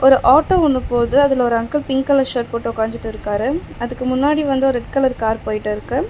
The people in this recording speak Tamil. ஒரு ஆட்டோ ஒன்னு போது அதுல ஒரு அங்கிள் பிங்க் கலர் ஷர்ட் போட்டு உக்காஞ்சிட்டிருக்காரு. அதுக்கு முன்னாடி வந்து ஒரு ரெட் கலர் கார் போயிட்டிருக்கு.